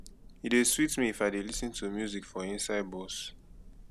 e dey sweet me if i dey lis ten to music for inside bus